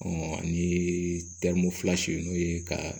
ani n'o ye ka